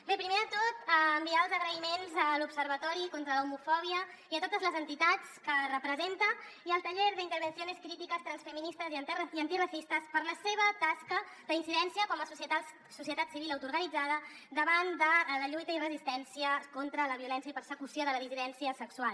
bé primer de tot enviar els agraïments a l’observatori contra l’homofòbia i a totes les entitats que representa i al taller de intervenciones críticas transfeministas y antirracistas per la seva tasca d’incidència com a societat civil autoorganitzada davant de la lluita i resistència contra la violència i persecució de la dissidència sexual